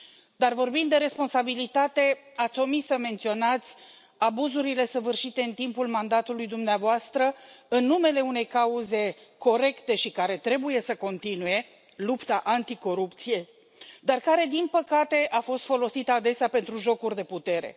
Dar vorbind de responsabilitate, ați omis să menționați abuzurile săvârșite în timpul mandatului dumneavoastră în numele unei cauze corecte și care trebuie să continue lupta anticorupție dar care, din păcate, a fost folosită adesea pentru jocuri de putere.